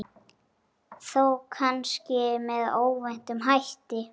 Þó kannski með óvæntum hætti.